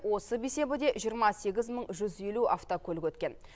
осы бейсенбіде жиырма сегіз мың жүз елу автокөлік өткен